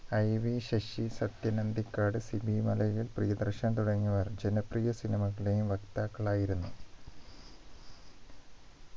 IV Sasi Sathyan Anthikad Sibi Malayil Priyadarshan തുടങ്ങിയവർ ജനപ്രിയ cinema കളുടെ വക്താക്കളായിരുന്ന